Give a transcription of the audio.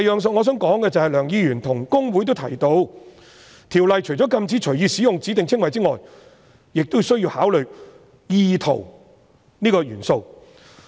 此外，梁議員與公會均提到，《條例》除了禁止隨意使用指定稱謂外，亦需要考慮"意圖"這個元素。